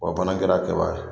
o fana kɛra kɛba ye